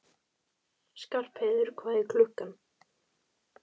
Skarpheiður, hvað er klukkan?